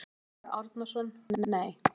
Sölvi Árnason: Nei.